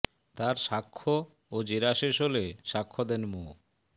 তার সাক্ষ্য ও জেরা শেষ হলে সাক্ষ্য দেন মো